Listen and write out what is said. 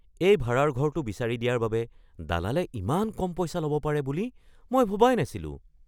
এই ভাড়াৰ ঘৰটো বিচাৰি দিয়াৰ বাবে দালালে ইমান কম পইচা ল'ব পাৰে বুলি মই ভবাই নাছিলোঁ!